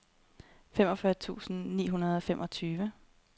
femogfyrre tusind ni hundrede og femogtyve